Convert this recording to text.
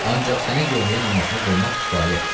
Ancaq sənə yomya namazını qılmaq kifayətdir.